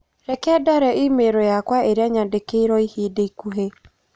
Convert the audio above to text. Reke ndore i-mīrū yakwa ĩrĩa nyandĩkĩ iro ihinda ikuhĩ .